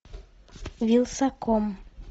вилсаком